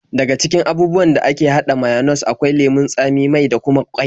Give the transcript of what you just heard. Daga cikin abubuwan da ake haɗa mayones akwai lemon tsami, mai da kuma ƙwai.